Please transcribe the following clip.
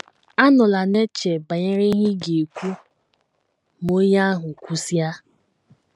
Anọla na - eche banyere ihe ị ga - ekwu ma onye ahụ kwusịa.